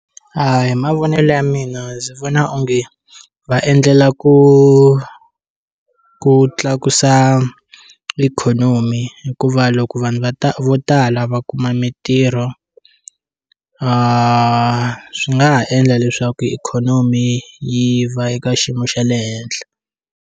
A hi mavonelo ya mina ndzi vona onge va endlela ku ku tlakusa ikhonomi hikuva loko va ta vo tala va kuma mitirho swi nga ha endla leswaku ikhonomi yi va eka xiyimo xa le henhla.